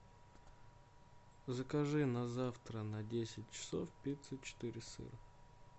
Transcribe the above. закажи на завтра на десять часов пиццу четыре сыра